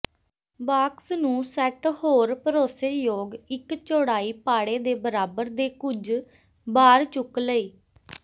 box ਨੂੰ set ਹੋਰ ਭਰੋਸੇਯੋਗ ਇੱਕ ਚੌੜਾਈ ਪਾੜੇ ਦੇ ਬਰਾਬਰ ਦੇ ਕੁਝ ਬਾਰ ਚੁੱਕ ਲਈ